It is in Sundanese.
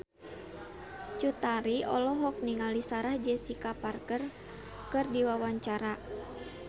Cut Tari olohok ningali Sarah Jessica Parker keur diwawancara